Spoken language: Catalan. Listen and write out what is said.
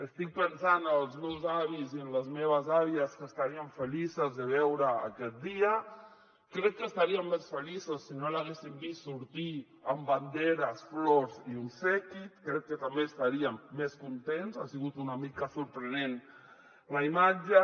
estic pensant en els meus avis i les meves àvies que estarien feliços de veure aquest dia crec que estarien més feliços si no l’haguessin vist sortir amb banderes flors i obsequis crec que també estarien més contents ha sigut una mica sorprenent la imatge